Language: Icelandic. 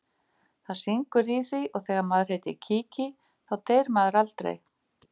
Það syngur í því og þegar maður heitir Kiki þá deyr maður aldrei.